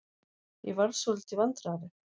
Ég varð svolítið vandræðaleg.